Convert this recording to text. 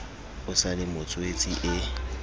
o sa le motswetse e